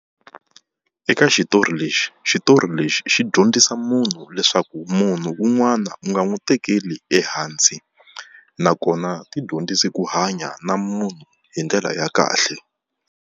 Eka xitori lexi xitori lexi xi dyondzisa munhu leswaku munhu un'wana u nga n'wi tekeli ehansi, nakona tidyondzise ku hanya na munhu hi ndlela ya kahle.